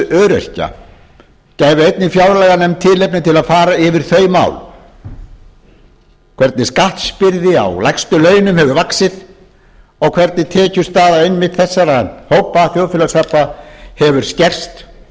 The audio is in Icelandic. öryrkja gæfi einnig fjárlaganefnd tilefni til að fara yfir þau mál hvernig skattbyrði á lægstu launin hefur vaxið og hvernig tekjustaða einmitt þessara þjóðfélagshópa hefur skerst